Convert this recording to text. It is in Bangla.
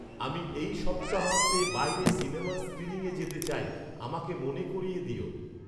আমি এই সপ্তাহান্তে বাইরে সিনেমার স্ক্রীনিং এ যেতে চাই আমাকে মনে করিয়ে দিও